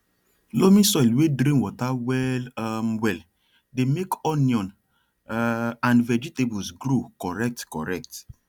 loamy soil wey drain water well um well dey make onion um and vegetables grow correct correct